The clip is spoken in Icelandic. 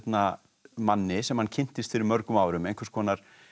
manni sem hann kynntist fyrir mörgum árum einhvers konar